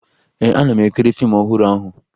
Ee, ana m ekiri fiimu ọhụrụ ahụ